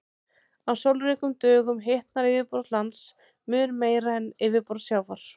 Á sólríkum dögum hitnar yfirborð lands mun meira en yfirborð sjávar.